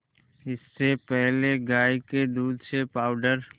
इससे पहले गाय के दूध से पावडर